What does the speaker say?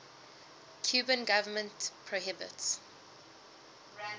cuban government prohibits